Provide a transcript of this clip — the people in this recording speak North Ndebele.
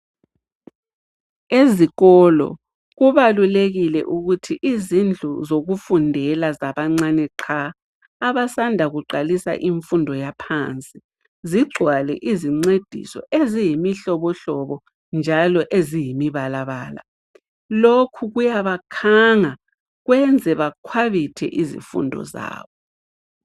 Ezikolo kubalulekile ukuthi izindlu zokufundlela zabancane qha abasanda kuqalisa izifundo zaphansi zigcwale izincediso eziyimihlobohlobo njalo eziyimabalabala. Lokhu kuyabakhanga kwenze bakhwabithe izifundo zabo.